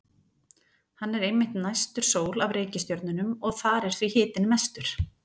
Hann er einmitt næstur sól af reikistjörnunum og þar er því hitinn mestur.